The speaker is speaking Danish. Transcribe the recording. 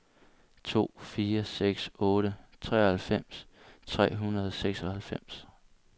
to fire seks otte treoghalvfems tre hundrede og seksoghalvfems